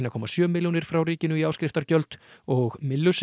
komma sjö milljónir frá ríkinu í áskriftargjöld og